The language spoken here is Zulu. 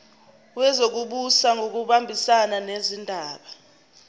wezokubusa ngokubambisana nezindaba